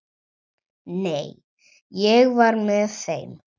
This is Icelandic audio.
Nei, ég var með þeim.